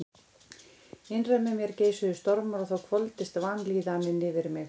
Innra með mér geisuðu stormar og þá hvolfdist vanlíðanin yfir mig.